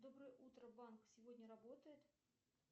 доброе утро банк сегодня работает